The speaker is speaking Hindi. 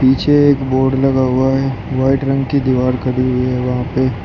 पीछे एक बोर्ड लगा हुआ है व्हाइट रंग की दीवार खड़ी हुई है वहां पे।